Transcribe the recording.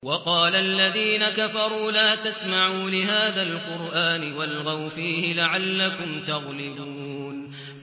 وَقَالَ الَّذِينَ كَفَرُوا لَا تَسْمَعُوا لِهَٰذَا الْقُرْآنِ وَالْغَوْا فِيهِ لَعَلَّكُمْ تَغْلِبُونَ